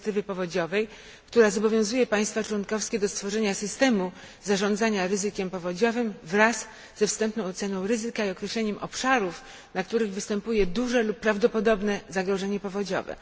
dyrektywy powodziowej, która zobowiązuje państwa członkowskie do stworzenia systemu zarządzania ryzykiem powodziowym wraz ze wstępną oceną ryzyka i określeniem obszarów, na których występuje duże lub prawdopodobne zagrożenie powodziowe.